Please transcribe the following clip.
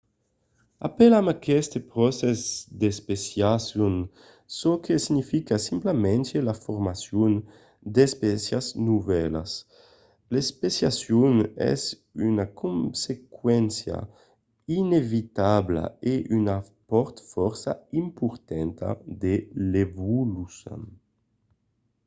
apelam aqueste procès especiacion çò que significa simplament la formacion d’espécias novèlas. l’especiacion es una consequéncia inevitabla e una part fòrça importanta de l’evolucion